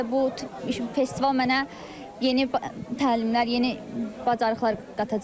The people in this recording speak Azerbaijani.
Məncə bu festival mənə yeni təlimlər, yeni bacarıqlar qatacaq.